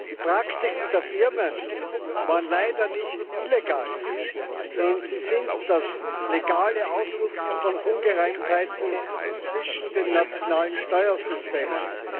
Die Praktiken der Firmen waren leider nicht illegal, sondern sind das legale Ausnutzen von Ungereimtheiten zwischen den nationalen Steuersystemen.